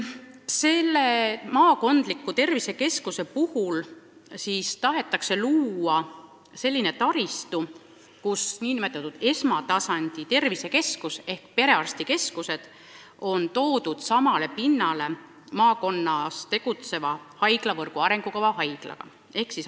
Nüüd tahetakse maakondlike tervisekeskuste puhul luua sellised taristud, mille puhul nn esmatasandi tervisekeskused ehk perearstikeskused on toodud samale pinnale maakonnas tegutseva haiglaga, mis kuulub haiglavõrgu arengukavva.